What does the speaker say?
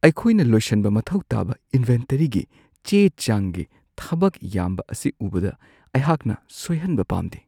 ꯑꯩꯈꯣꯢꯅ ꯂꯣꯏꯁꯟꯕ ꯃꯊꯧ ꯇꯥꯕ ꯏꯟꯚꯦꯟꯇꯔꯤꯒꯤ ꯆꯦ-ꯆꯥꯡꯒꯤ ꯊꯕꯛ ꯌꯥꯝꯕ ꯑꯁꯤ ꯎꯕꯗ, ꯑꯩꯍꯥꯛꯅ ꯁꯣꯏꯍꯟꯕ ꯄꯥꯝꯗꯦ ꯫